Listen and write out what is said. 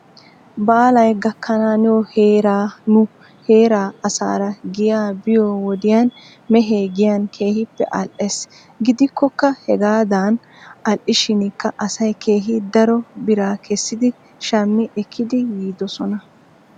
Baalay gakkanaaniyoo heera nu heeraa asaara giyaa biyoo wodiyan mehee giyan keehippe al"ees. Gidikkoka hegaadan al"ishinkka asay keehi daro biraa kessidi shami ekkidi yiidosona.